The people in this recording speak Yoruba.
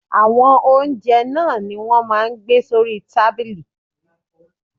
Àwọn oúnjẹ náà ni wọ́n máa ń gbé sórí tábìlì.